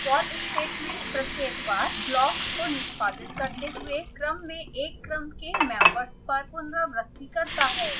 for statement प्रत्येक बार block को निष्पादित करते हुए क्रम में एक क्रम के मेम्बर्स पर पुनरावृति करता है